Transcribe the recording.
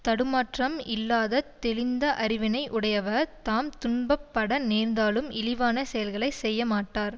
தடுமாற்றம் இல்லாது தெளிந்த அறிவினை உடையவர் தாம் துன்பப்பட நேர்ந்தாலும் இழிவான செயல்களை செய்யமாட்டார்